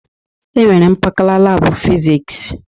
E nwere mpakala labụ Fịzịks.